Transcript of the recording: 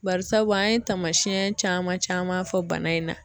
Bari sabubu an ye tamasiyɛn caman caman fɔ bana in na.